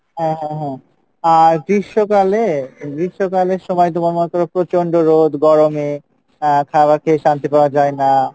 হ্যাঁ হ্যাঁ হ্যাঁ আহ গ্রীষ্মকালে, গ্রীষ্মকালের সময়ে তোমার মনে করো প্রচণ্ড রোদ, গরমে আহ খাওয়ার খেয়ে শান্তি পাওয়া যায়না,